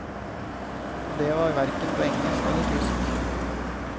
Og det var verken på engelsk eller tysk.